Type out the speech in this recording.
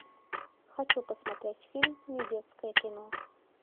хочу посмотреть фильм недетское кино